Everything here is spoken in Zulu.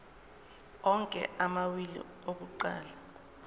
onke amawili akuqala